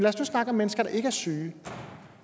os nu snakke om mennesker der ikke er syge